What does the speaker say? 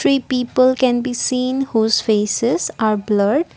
three people can be seen whose faces are blurred.